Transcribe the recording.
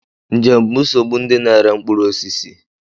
Njem bụ nsogbu ndị na-ere mkpụrụ osisi.